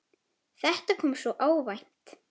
Þetta kom svo óvænt.